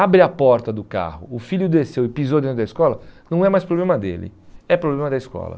Abre a porta do carro, o filho desceu e pisou dentro da escola, não é mais problema dele, é problema da escola.